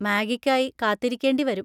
മാഗിക്കായി കാത്തിരിക്കേണ്ടി വരും.